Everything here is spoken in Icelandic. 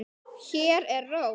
Hér er ró.